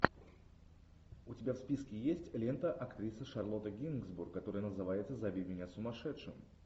у тебя в списке есть лента актрисы шарлотты генсбур которая называется зови меня сумасшедшим